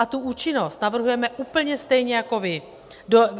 A tu účinnost navrhujeme úplně stejně jako vy.